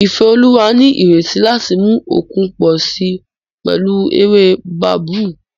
Ifeoluwa ní ìrètí láti mú okun pọ̀ sí i pẹ̀lú ewé babú